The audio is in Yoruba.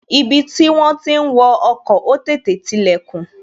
Ibi tí wón ti ń wo ọkọ̀, ó tètè tilè kùn